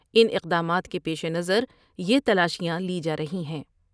ان اقدامات کے پیش نظر یہ تلاشیاں لی جارہی ہیں ۔